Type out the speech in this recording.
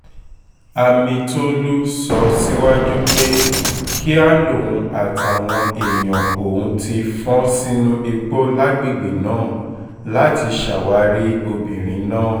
amitólú sọ síwájú pé kíá lòun àtàwọn èèyàn òun ti fọ́n sínú igbó lágbègbè náà láti ṣàwárí obìnrin náà